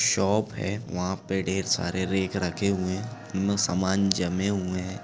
Shop है वहाँ पे ढेर सारे रैक रखे हुए है सामान जमे हुए है।